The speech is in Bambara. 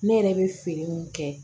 Ne yɛrɛ bɛ feere mun kɛ